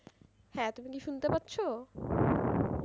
হ্যাঁ তুমি কী শুনতে পাচ্ছো?